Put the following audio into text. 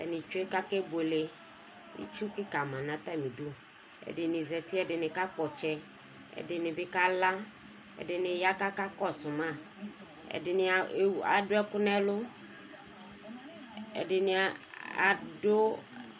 atani tsue kakebuele ɛdini zati ɛdini kakpɔ ɔtsɛ ɛdini bikala ɛdini ya kakakɔsu ma ɛdini adu ɛku nu ɛlu ɛdini adu